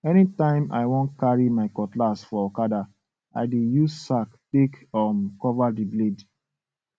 anytime i wan carry my cutlass for okada i dey use sack take um cover the blade